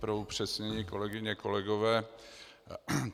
Pro upřesnění, kolegyně, kolegové.